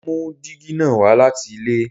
Mo mú dígí na wá láti ilé